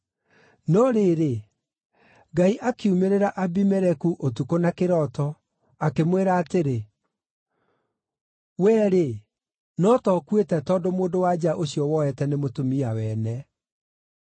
No rĩrĩ, Ngai akiumĩrĩra Abimeleku ũtukũ na kĩroto, akĩmwĩra atĩrĩ, “Wee-rĩ, no ta ũkuĩte tondũ mũndũ-wa-nja ũcio woete nĩ mũtumia wene.”